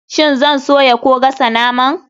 Shin zan soya ko gasa naman?